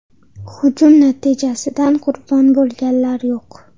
Hujum natijasidan qurbon bo‘lganlar yo‘q.